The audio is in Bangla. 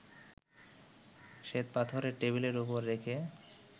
শ্বেতপাথরের টেবিলের ওপর রেখে